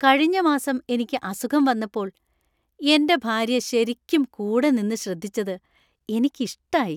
കഴിഞ്ഞ മാസം എനിക്ക് അസുഖം വന്നപ്പോൾ എന്‍റെ ഭാര്യ ശരിക്കും കൂടെ നിന്ന് ശ്രദ്ധിച്ചത് എനിക്കിഷ്ടായി.